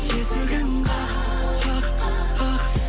есігін қақ қақ қақ